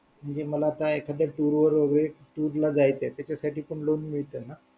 म्हणजे मला आता एखादा Tour वर वगैरे Tour ला जायचे तर त्याच्यासाठी पण loan मिळते ना